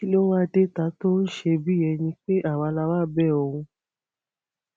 kí ló wáá dé ta tó ń ṣe bíi ẹni pé àwa la wáá bẹ òun